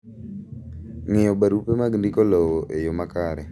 Ng'iyo barupe mag ndiko lowo e yoo makare.